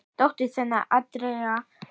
Dóttir þeirra er Andrea Rún.